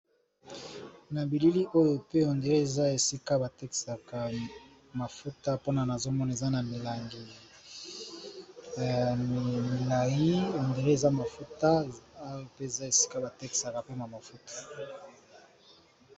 Na bilili oyo pe hondre eza esika bateksaka mafuta mpona na zomona eza na milangi ya milai hondre eza mafuta oya mpe eza esika bateksaka mpema mafuta.